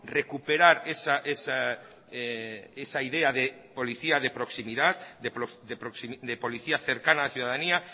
recuperar esa idea de policía de proximidad de policía cercana a la ciudadanía